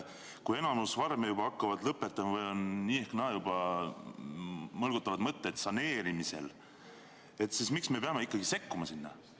Kui enamik farme juba hakkab lõpetama ja nii ehk naa mõlgutavad mõtteid saneerimisest, siis miks me peame sinna sekkuma?